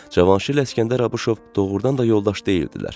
Cavanşir İsgəndər Abışov doğrudan da yoldaş deyildilər.